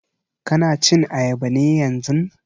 Ka na cin ayaba ne yanzun?